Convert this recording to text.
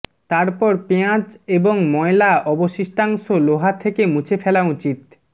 তারপর পেঁয়াজ এবং ময়লা অবশিষ্টাংশ লোহা থেকে মুছে ফেলা উচিত